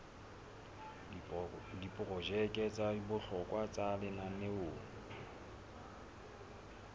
diprojeke tsa bohlokwa tsa lenaneo